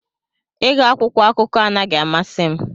Ịgụ akwụkwọ akụkọ anaghị amasị m